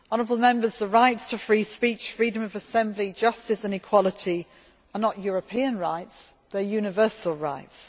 The rights to free speech, freedom of assembly, justice and equality are not European rights they are universal rights.